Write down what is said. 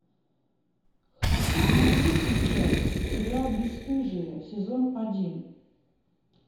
хочу смотреть сейчас сериал бесстыжие сезон один